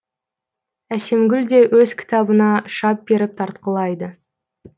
әсемгүл де өз кітабына шап беріп тартқылайды